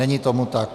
Není tomu tak.